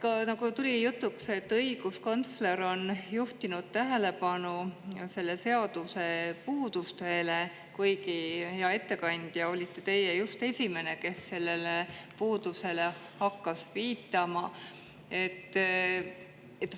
Jah, nagu tuli jutuks, on õiguskantsler juhtinud tähelepanu selle seaduse puudustele, kuigi, hea ettekandja, teie olite just esimene, kes sellele puudusele hakkas viitama.